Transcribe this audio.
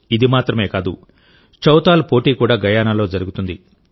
ఇది మాత్రమే కాదుచౌతాల్ పోటీ కూడా గయానాలో జరుగుతుంది